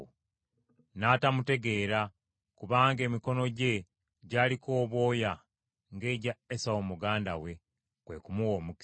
N’atamutegeera kubanga emikono gye gyaliko obwoya ng’egya Esawu muganda we, kwe kumuwa omukisa.